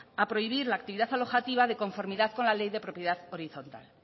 a prohibir la actividad alojativa de conformidad con la ley de propiedad horizontal